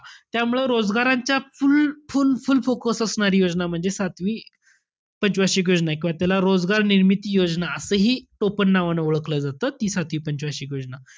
त्यामुळं रोजगारांच्या full-full-full focus असणारी योजना म्हणजे सातवी पंच वार्षिक योजनाय. किंवा त्याला रोजगार निर्मिती योजना असंही टोपणनांवानं ओळखलं जातं, ती सातवी पंच वार्षिक योजना.